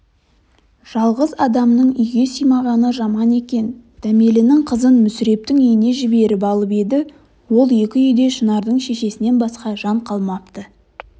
жалғыз адамның үйге сыймағаны жаман екен дәмелінің қызын мүсірептің үйіне жіберіп алып еді ол екі үйде шынардың шешесінен басқа жан қалмапты